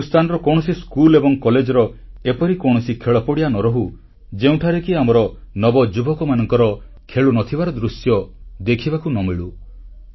ହିନ୍ଦୁସ୍ଥାନର କୌଣସି ସ୍କୁଲ ଏବଂ କଲେଜର ଏପରି କୌଣସି ଖେଳପଡ଼ିଆ ନ ରହୁ ଯେଉଁଠାରେ କି ଆମର ନବଯୁବକମାନଙ୍କର ଖେଳୁନଥିବାର ଦୃଶ୍ୟ ଦେଖିବାକୁ ନ ମିଳୁ